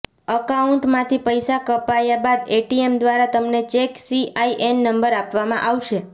અકાઉન્ટમાથી પૈસા કપાયા બાદ એટીએમ દ્વારા તમને એક સીઆઇએન નંબર આપવામા આવશે